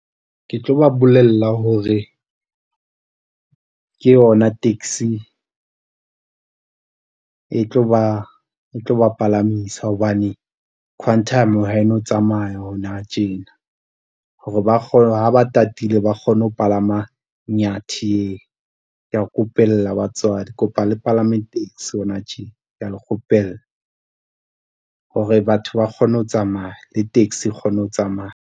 Ke tlo ba bolella hore ke yona taxi e tlo ba palamisa hobane Quantum ha e no tsamaya hona tjena hore ha ba tatile, ba kgone ho palama Nyathi e kea kopela batswadi, kopa le palame taxi hona tje kea le kgopela hore batho ba kgone ho tsamaya le taxi e kgone ho tsamaya.